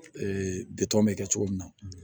bitɔn bɛ kɛ cogo min na